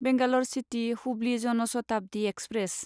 Bangalore city Hubli Jan Shatabdi express